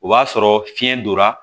O b'a sɔrɔ fiyɛn donna